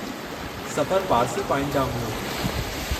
सफ़रु पारसी पॉइंट ॾांहुं हुओ।